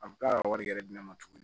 A bɛ k'a ka wari yɛrɛ di ne ma tuguni